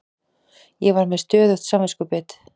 Ég var með stöðugt samviskubit.